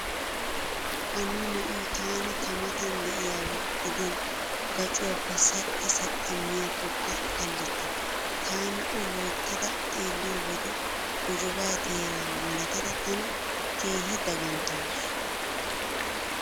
Hanno na'iyo taani tamatan diyaba gidin gacuwaappe saxxa saxxa miyaakkokka kallikke. Taani o loyttada xeelliyo wode gojobaa teeraa malatada tana keehi daganttawusu.